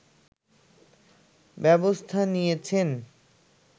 ব্যবস্থা নিয়েছেন